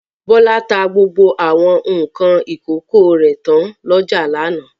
Bọ́lá ta gbogbo àwọn nǹkan ìkókó rẹ̀ tán lọ́jà lánàá.